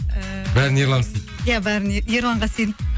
бәрін ерлан істейді иә бәрін ерланға сеніп